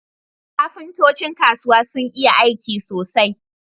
Kafintocin kasuwa sun iya aiki sosai